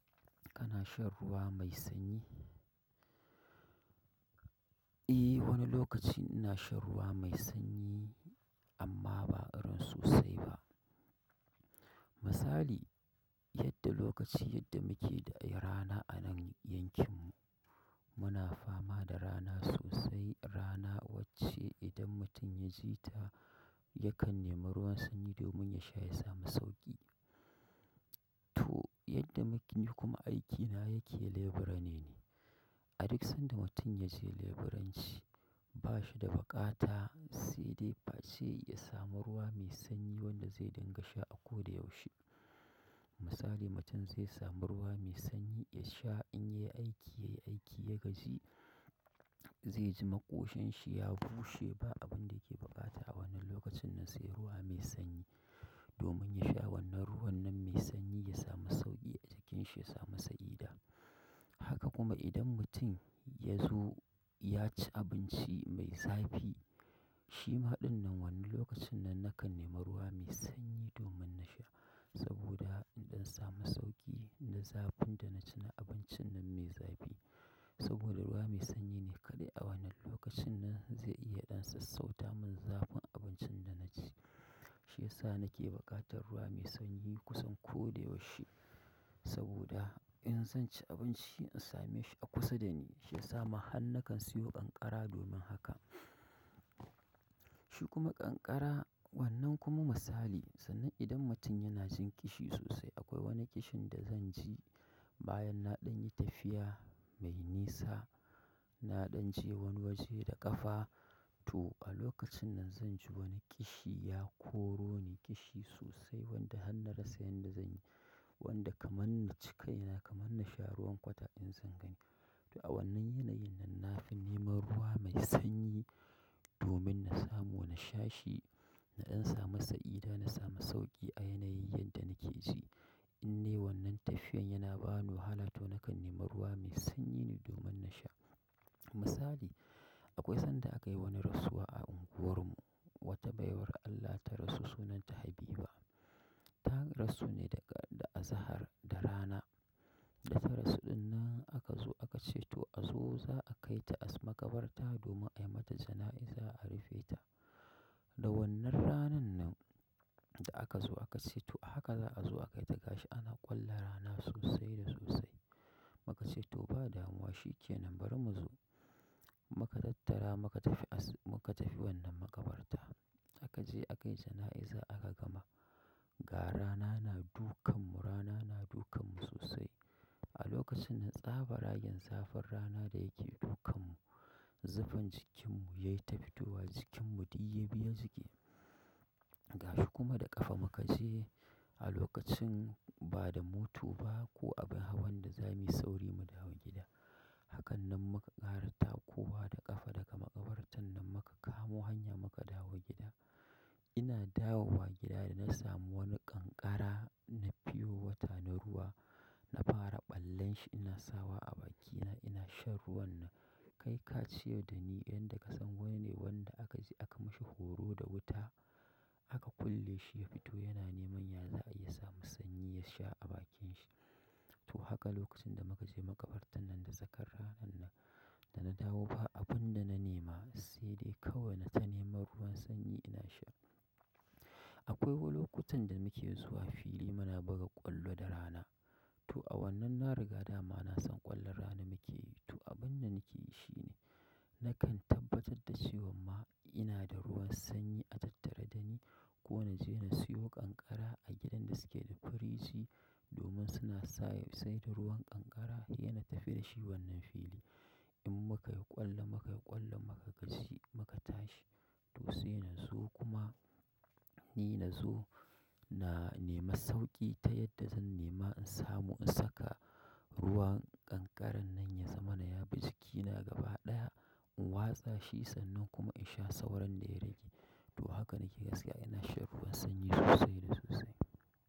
Kana shan ruwa mai sanyi? Eh, wani lokaci ina shan ruwa mai sanyi amma ba irin sosai ba. Misali, yadda lokaci yadda muke da ai rana a nan yankin mu, muna fama da rana sosai. Rana wacce idan mutum ya ji ta yakan nema ruwan sanyi domin ya sha ya samu sauƙi. To, yadda muke ni kuma aikine yake leburane ne. A duk sanda mutum ya je leburanci bashi da buƙata sai dai face yasamu ruwa mai sanyi wanda zai dinga sha a ko da yaushe misali, mutum zai samu ruwa mai sanyi ya sha in ya yi aiki, ya yi aiki, ya gaji, zai ji ma ƙoshan shi ya bushe. Ba abun da yake buƙata a wannan lokacin nan sai ruwa mai sanyi domin ya sha wannan ruwan nan mai sanyi ya samu sauƙi a jikin shi ya samu sanyi da. Haka kuma idan mutum ya zo ya ci abinci mai zafi, shi maɗin nan wannan lokacin nan nakan nema ruwa mai sanyi domin na sha. Saboda in samu sauƙi na zafin da na ci na abincin nan mai zafi. Saboda ruwa mai sanyi ne kaɗai a wannan lokacin nan zai iya ɗan sassauta min zafin abincin da na ci. Shi yasa nake buƙatar ruwa mai sanyi kusan ko da yaushe. Saboda in zan ci abinci in same shi a kusa da ni, shi ya sa ma har na kan siyo ƙanƙara domin haka. Shi kuma ƙanƙara wannan kuma misali, sannan idan mutum yana jin kishi sosai, akwai wani kishin da zan ci bayan na ɗan yi tafiya mai nisa, na ɗan je wani waje da ƙafa. To, a lokacin nan zan ji wani ƙishi ya koro ni ƙishi sosai wanda har na rasa yan da zan yi. Wanda kaman na cika kaina kaman na sha ruwan kwata in zan gani. To a wannan yanayin nan na fi neman ruwa mai sanyi domin na samu, na sha shi, na ɗan samu sa'ida, na samu sauƙi a yanayin yadda nake ji. In nayi wannan tafiyan yana ba ni wahala to nakan nema ruwa mai sanyi ne domin na sha. Misali, akwai sanda aka yi wani rasuwa a unguwar mu, wata baiwar Allah ta rasu sunanta Habiba. Ta rasu ne daga, da azahar, da rana. Da ta rasu ɗin nan aka zo aka ce to a zo za a kai ta a makabarta domin ai mata jana'iza a rufe ta. Da wannan ranan nan da aka zo aka ce to haka za a zo aka kai ta gashi ana ƙwalla rana sosai da sosai. Muka ce to ba damuwa shi ke nan bari mu zo. Muka tattara muka tafi as-- muka tafi wannan makabarta. A ka je aka yi jana'iza aka gama. Ga rana na dukan mu, rana na dukan mu sosai. A lokacin nan tsaban rayen zafin rana da yake dukan mu, zufan jikin mu ya yi ta fitowa, jikin mu ɗuk ya biya jiƙe. Gashi kuma da ƙafa muka je a lokacin ba da moto ba ko abin hawan da za mu yi sauri mu dawo gida. Hakan nan muka ƙara takowa da ƙafa daga makabartan nan muka kamo hanya muka dawo gida. Ina dawowa gida da na samu wani ƙanƙara na pure wata na ruwa. Na fara ɓallen shi ina sawa a bakina ina shan ruwan nan. Kai ka ce yau da ni yanda ka san wani wanda aka je aka mashi horo da wuta, aka kulle shi ya fito yana neman yaza'i ya samu sanyi ya sha a bakin shi. To haka lokacin da muka je makabartan nan, da sakar ranan nan, da na dawo ba abunda na nema sai dai kawaii na ta neman ruwan sanyi ina sha, Akoi lokacin da muke zuwan fili muna buga ƙwallo da rana. To a wannan na riga dama na san ƙwallon rana muke yi. To abun da nake yi shi ne, nakan tabbatar da cewa ma ina da ruwan sanyi a tattare da ni ko na je na siyo ƙanƙara a gidan da suke da firiji domin suna sa ya saida ruwan ƙanƙara yana ta firiji a wannan fili in muka yi ƙwallo, muka yi ƙwallo muka gaji muka tashi. To sai na zo kuma ni na zo na nema sauƙi ta yadda zan nema in samu in saka ruwan ƙanƙaran nan ya zamana yabi jikina gaba ɗaya, in watsa shi sannan kuma in sha sauran da ya rage. To haka nake gaskiya ina shan ruwan sanyi sosai da sosai.